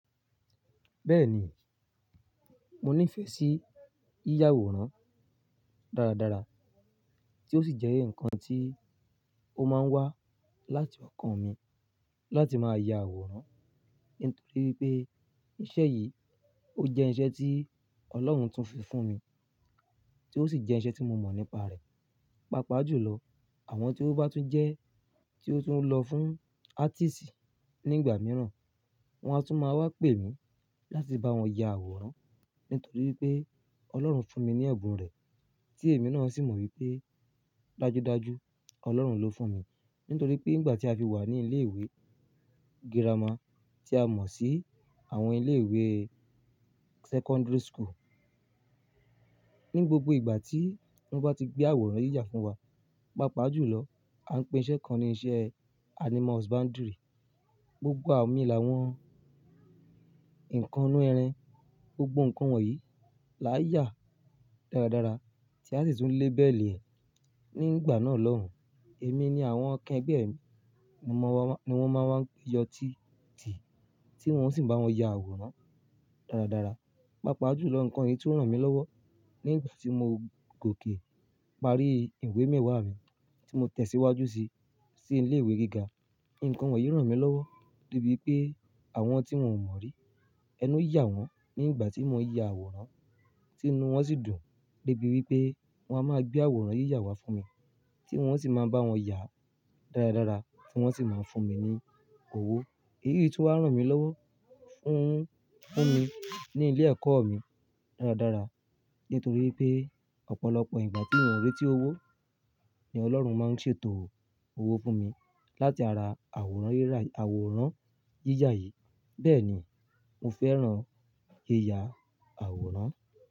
Bẹ́ẹ̀ni, mo niífẹ̀ sí yíyà àwòrán dáradára, tí ó sì jẹ́ ǹkan tí ó máa ń wá láti ọkàn mi láti máa ya àwòrán. Nítorí pé iṣẹ́ yìí ó jẹ́ iṣẹ́ tí Ọlọ́run tún fi fún mi, tí ó sì jẹ́ iṣẹ́ tí mo mọ̀ nípa rẹ̀. Pápa jù lọ, àwọn tí ó bá tún jẹ́, tí ó tún lọ fún artist nígbà mìíràn, wọn á tún máa wá pè mí láti bá wọn ya àwòrán. Nítorí pé Ọlọ́run fún mi ní ẹ̀bùn rẹ̀, tí èmi náà sì mọ̀ wípé dájudájú Ọlọ́run ló fún mi. Nítorí pé nígbà tí a fi wà ní ilé ìwé girama tí a mọ̀ sí àwọn ilé ìwé secondary school, ní gbogbo ìgbà tí wọ́n bá ti gbé àwòrán yíyà fún wa, pàápàá jùlọ a ń pè iṣẹ́ kan ní iṣẹ́ animals boundary. Gbogbo àwọn lami la wọ́n, nǹkan inú ẹran, gbogbo ǹkan wọ̀nyí la yà dáradára tí a sì tún lé bẹ̀lẹ̀ nígbà náà lọ́hùn. Èmi ni àwọn kẹ́gbẹ́ mi, mo mọ̀ wá, ni wọ́n máa wá yọ tíìtì tí wọ́n sì bá wọn ya àwòrán dáradára. Pápa jùlọ ǹkan yìí tí ó rán mi lọ́wọ́ nígbà tí mo gòkè parí ìwé mẹ́wàá mi tí mo tẹ̀síwájú sí, sí ilé ìwé gíga. Ǹkan wọ̀nyí rán mi lọ́wọ́ débi wípé àwọn tí mò ń mọ̀ rí, ẹnu yà wọ́n nígbà tí mò ń ya àwòrán, tí inú wọn sì dùn débi wípé wọ́n á máa gbé àwòrán yíyà wá fún mi tí wọ́n sì máa bá wọn yà dáradára tí wọ́n sì máa ń fún mi ní owó. Èyí sì tó rán mi lọ́wọ́ fún, fún mi ní ilé ẹ̀kọ́ mi dáradára. Nítorí pé ọ̀pọ̀lọpọ̀ ìgbà tí mò ń rí tí ó wó ni Ọlọ́run máa ń ṣètò owó fún mi láti ara àwòrán yíyà, àwòrán yíyà yìí. Bẹ́ẹ̀ ni mo fẹ́ran yíyà àwòrán.